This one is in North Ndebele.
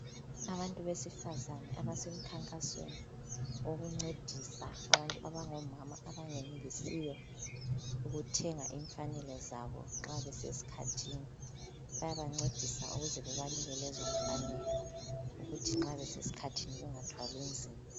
Abantu besifazana abasemkhankasweni wokuncedisa abantu abangomama abangenelisiyo ukuthenga imfanelo zabo nxa besesikhathini. Bayabancedisa ukuze bebanike lezomfanelo ukuze nxa besesikhathini bengathwali nzima.